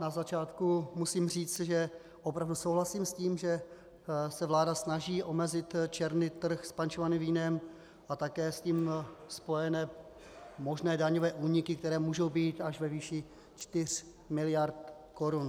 Na začátku musím říct, že opravdu souhlasím s tím, že se vláda snaží omezit černý trh s pančovaným vínem a také s tím spojené možné daňové úniky, které můžou být až ve výši 4 mld. korun.